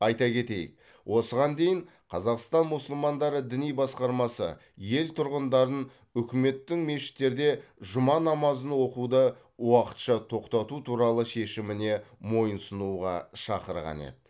айта кетейік осыған дейін қазақстан мұсылмандары діни басқармасы ел тұрғындарын үкіметтің мешіттерде жұма намазын оқуды уақытша тоқтату туралы шешіміне мойынсұнуға шақырған еді